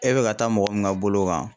E bɛ ka taa mɔgɔ min ka bolo kan